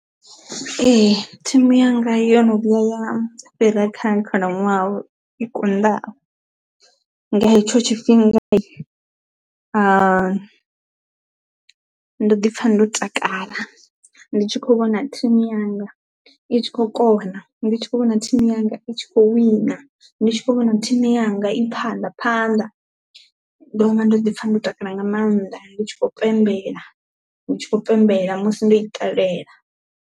Ee thimu yanga yo no vhuya ya fhira kha khalaṅwaha i konḓaho nga hetsho tshifhinga ha ndo ḓi pfha ndo takala ndi tshi kho vhona thimu yanga i tshi khou kona, ndi tshi kho vhona thimu yanga i tshi kho wina, ndi tshi kho vhona thimu yanga i phanḓa phanḓa ndo vha ndo ḓi pfha ndo takala nga maanḓa ndi tshi khou pembela ndi tshi khou pembela musi ndo i ṱalela.